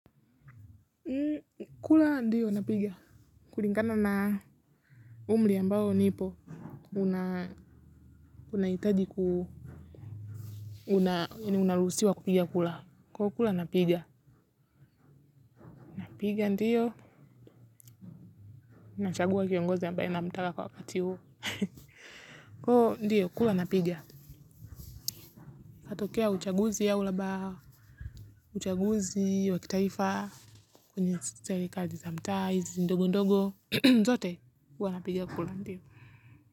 Kula ndiyo napiga. Kulingana na umri ambao nipo. Unaitaji ku unarusiwa kupiga kura. Kula kula napiga. Napiga ndiyo. Nachagua kiongozi ambaye na mtaka kwa wakati huo. Ooh ndio kula napiga. Katokea uchaguzi au labaha. Uchaguzi, wakitaifa. Kwnye serekali za mtala, hizi ndogo ndogo. Zote hua napiga kula ndiyo.